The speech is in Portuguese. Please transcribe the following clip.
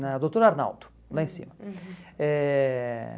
Na doutor Arnaldo, lá em cima. Eh